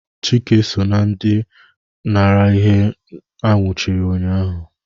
Chike so na ndị nara ihe a nwụchiri ụnyahụ